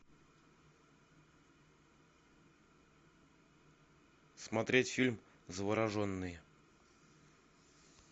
смотреть фильм завороженный